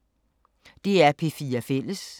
DR P4 Fælles